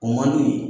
O man d'u ye